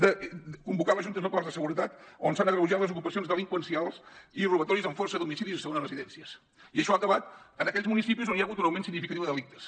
de convocar les juntes locals de seguretat on s’han agreujat les ocupacions delinqüencials i robatoris amb força a domicilis i segones residències i això ha acabat en aquells municipis on hi ha hagut un augment significatiu de delictes